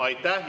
Aitäh!